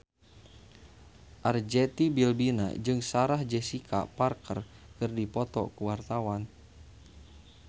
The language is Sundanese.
Arzetti Bilbina jeung Sarah Jessica Parker keur dipoto ku wartawan